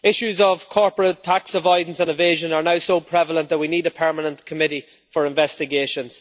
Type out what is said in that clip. Issues of corporate tax avoidance and evasion are now so prevalent that we need a permanent committee for investigations.